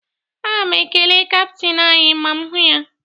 Aga m ekele kaptịn anyị ma m hụ ya